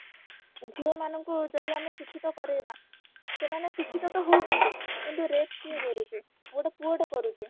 ଝିଅମାନ ଙ୍କୁ ଯଦି ଆମେ ଶିକ୍ଷିତ କରେଇବା ସେମାନେ ଶିକ୍ଷିତ ତ ହଉଛନ୍ତି କିନ୍ତୁ rape କିଏ କରୁଛି ଗୋଟେ ପୁଅ ଟେ କରୁଛି